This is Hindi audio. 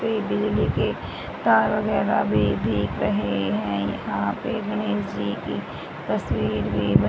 पे बिजली के तार वगैरा भी दिख रहे है यहां पे गणेश जी की तस्वीर भी ब--